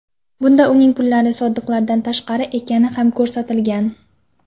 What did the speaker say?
Bunda uning pullari soliqlardan tashqari ekani ham ko‘rsatilgan.